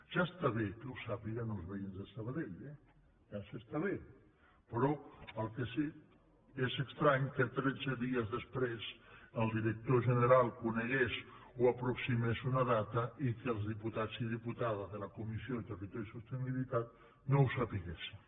ja està bé que ho sàpiguen els veïns de sabadell eh ja ens està bé però el que sí que és estrany és que tretze dies després el director general conegués o aproximés una data i que els diputats i diputades de la comissió de territori i sostenibilitat no ho sabéssim